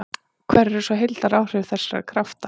Hver eru svo heildaráhrif þessara krafta?